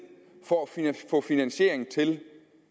få finansiering til